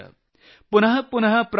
पुनः पुनः प्रवर्धेत